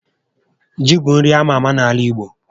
Ji bụ nri ama ámá n'ala igbo